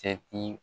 Cɛ ti